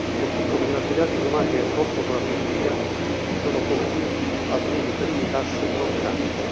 così come nelle attività diplomatiche in corso con la Turchia, si sono compiuti alcuni primi passi importanti.